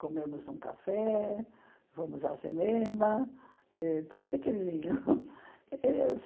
Comemos um café, fomos ao cinema, eh tudo pequenininho.